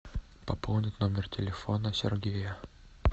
пополнить номер телефона сергея